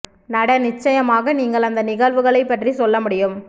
நட நிச்சயமாக நீங்கள் அந்த நிகழ்வுகளை பற்றி சொல்ல முடியும்